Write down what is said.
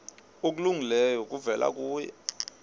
okulungileyo kuvela kuye